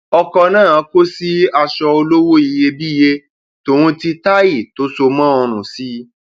ọkọ náà kò sí aṣọ olówó iyebíye tòun ti táì tó so mọ ọrun sí i